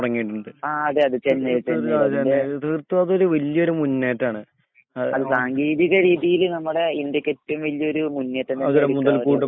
ആ അതെ ചെന്നൈയില് ചെന്നൈയില്ആഹ് അതേ സാങ്കേതിക രീതിയില് നമ്മുടെ ഇന്ത്യക്ക് ഏറ്റവും വലിയ്യൊരു മുന്നേറ്റം തന്നെയാണ്.